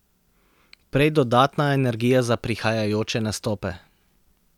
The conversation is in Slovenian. Prej dodatna energija za prihajajoče nastope.